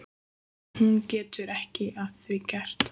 En hún getur ekki að því gert.